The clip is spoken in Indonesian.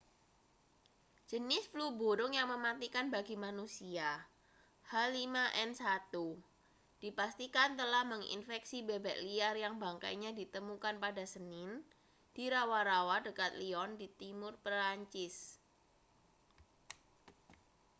jenis flu burung yang mematikan bagi manusia h5n1 dipastikan telah menginfeksi bebek liar yang bangkainya ditemukan pada senin di rawa-rawa dekat lyon di timur prancis